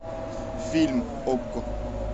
фильм окко